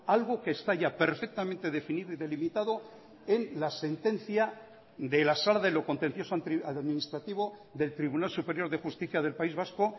algo que está ya perfectamente definido y delimitado en la sentencia de la sala de lo contencioso administrativo del tribunal superior de justicia del país vasco